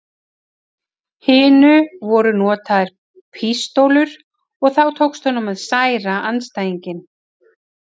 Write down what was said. hinu voru notaðar pístólur og þá tókst honum að særa andstæðinginn.